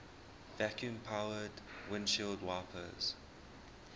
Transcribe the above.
vacuum powered windshield wipers